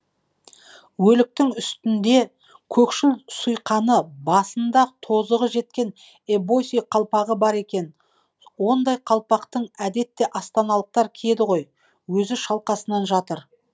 өліктің үстінде көкшіл сұйқаны басында тозығы жеткен эбоси қалпағы бар екен ондай қалпақты әдетте астаналықтар киеді ғой өзі шалқасынан жатыр